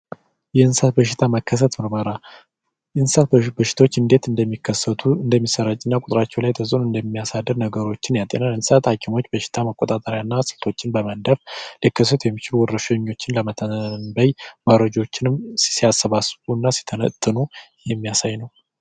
የእንስሳት በሽታ መከሰት ምርመራ የእንስሳት በሽታዎች እንዴት እንደሚከሰቱ እንደሚሰራጩና ቁጥራቸው ላይ ተጽዕኖ እንደሚያሳድሩ ያሳያል። የእንስሳት ሀኪሞች በሽታ የመቆጣጠር እና ስልቶችን በማደን ሊከሰቱ የሚችሉ ወረርሽኞችን ለመተንበይ አማራጮችንም ሲያስቡና ሲተነትኑ የሚያሳይ ነው።